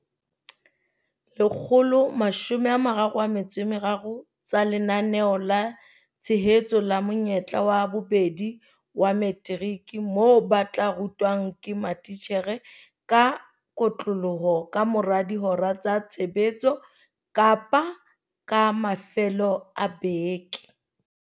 Lekgolo mashome a mararo a metso e meraro tsa Lenaneo la Tshehetso la Monyetla wa Bobedi wa Materiki moo ba tla rutwang ke matitjhere ka kotloloho ka mora dihora tsa tshebetso kapa ka mafelo a beke.